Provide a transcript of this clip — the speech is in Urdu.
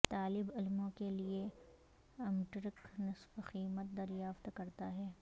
طالب علموں کے لئے امٹرک نصف قیمت دریافت کرتا ہے